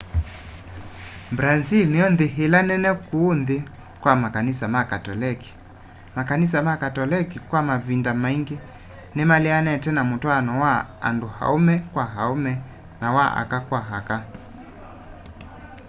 brazĩl nĩyo nthĩ ĩla nene kũũ nthĩ kwa makanĩsa ma katolekĩ makanĩsa ma katolekĩ kwa mavĩnda maĩngĩ nĩmaleanĩte na mũtwaano wa andũ aũme kwa aũme na wa aka kwa aka